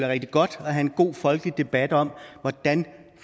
rigtig godt at have en god folkelig debat om hvordan